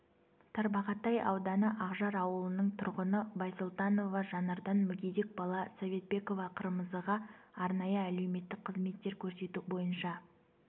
тарбағатай ауданы ақжар ауылының тұрғыны байсолтанова жанардан мүгедек бала советбекова қырмызыға арнайы әлеуметтік қызметтер көрсету бойынша